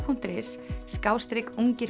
punktur is